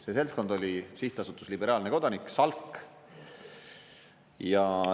See seltskond oli Sihtasutus Liberaalne Kodanik, Salk.